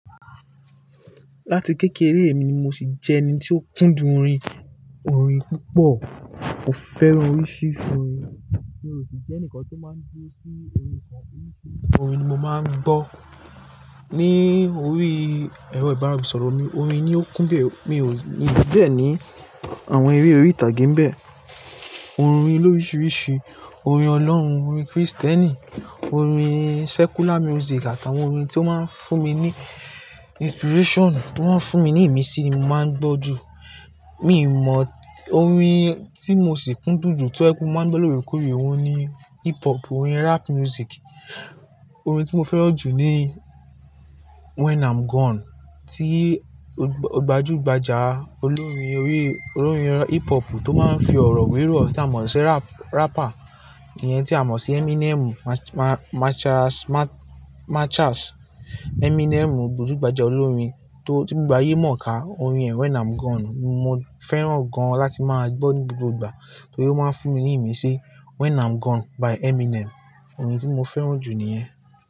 Láti kékeré èmi ni mo sì jẹ́ ẹni tí ó kúndùn orin, orin púpọ̀. Mo fẹ́ràn oríṣiríṣi orin, mi ò sì jẹ́ ǹkan tó máa ń dúró sí orin kan. Orin ni mo máa ń gbọ́. Ni orí ẹ̀rọ ìbánisọ̀rọ̀ mi, orin ni ó kún bẹ́ẹ̀, mi ò ní bẹ́ẹ̀ ni àwọn eré orí ìtàgé ń bẹ. Orin ló oríṣiríṣi, orin ọlọ́run, orin Kristẹni, orin secular music àtàwọn orin tí ó máa ń fún mi ní inspiration, tí wọ́n ń fún mi ní ìmísí, mo máa ń gbọ́ jù. Mi mọ orin tí mo sì kúndùn jù to jepe mo máa ń gbọ́ lóre kore ohun ni hip hop, orin rap music. Orin tí mo fẹ́ràn jù ni When I'm Gone tí gbajúgbajà olórin orí, orin hip hop tó máa ń fi ọ̀rọ̀ wíwíwọ̀ tí a mọ̀ sí rapper yẹn tí a mọ̀ sí Eminem Marshall, Marshall, Eminem gbajúgbajà olórin tó ti gbayé mọ̀ ká orin ẹ̀ When I'm Gone mo fẹ́ràn gan láti máa gbọ́ ní gbogbo ìgbà torí ó máa ń fún mi ní ìmísí. When I'm Gone by Eminem. Orin tí mo fẹ́ràn jù níyẹn.